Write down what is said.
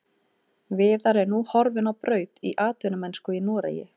Viðar er nú horfinn á braut í atvinnumennsku í Noregi.